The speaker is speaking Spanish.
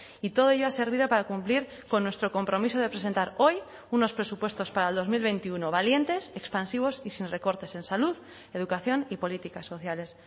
y todo ello ha servido para cumplir con nuestro compromiso de presentar hoy unos presupuestos para el dos mil veintiuno valientes expansivos y sin recortes en salud educación y políticas sociales